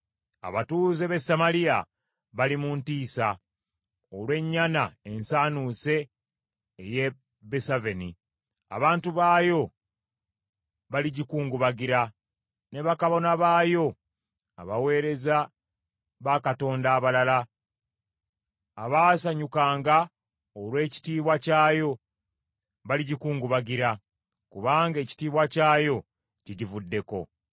Abatuuze b’e Samaliya bali mu ntiisa olw’ennyana ensaanuuse ey’e Besaveni. Abantu baayo baligikungubagira, ne bakabona baayo abaweereza bakatonda abalala, abaasanyukanga olw’ekitiibwa kyayo baligikungubagira, kubanga ekitiibwa kyayo kigivuddeko.